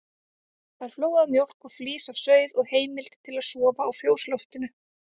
Fær flóaða mjólk og flís af sauð og heimild til að sofa á fjósloftinu.